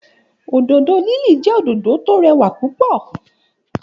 Òdòdó lili jẹ́ òdòdó tọ rẹwà púpọ̀